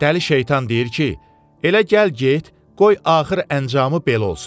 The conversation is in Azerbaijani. Dəli şeytan deyir ki, elə gəl get, qoy axır əncamı belə olsun.